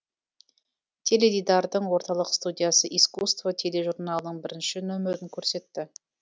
теледидардың орталық студиясы искусство тележурналының бірінші нөмірін көрсетті